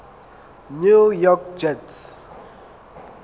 new york jets